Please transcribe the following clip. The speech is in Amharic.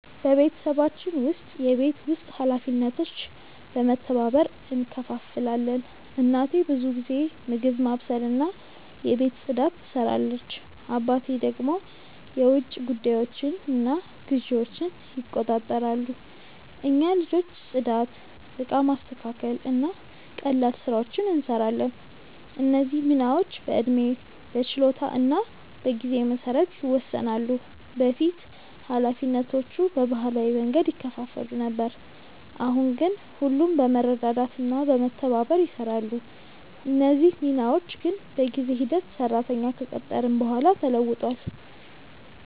በቤተሰባችን ውስጥ የቤት ውስጥ ኃላፊነቶች በመተባበር እንከፋፈላለን። እናቴ ብዙ ጊዜ ምግብ ማብሰልና የቤት ፅዳት ትሰራለች፣ አባቴ ደግሞ የውጭ ጉዳዮችንና ግዢዎችን ይቆጣጠራሉ። እኛ ልጆች ጽዳት፣ እቃ ማስተካከል እና ቀላል ስራዎችን እንሰራለን። እነዚህ ሚናዎች በዕድሜ፣ በችሎታ እና በጊዜ መሰረት ይወሰናሉ። በፊት ኃላፊነቶቹ በባህላዊ መንገድ ይከፋፈሉ ነበር፣ አሁን ግን ሁሉም በመረዳዳት እና በመተባበር ይሰራሉ። እነዚህ ሚናዎች ግን በጊዜ ሂደት ሰራተኛ ከቀጠርን በኋላ ተለውጧል።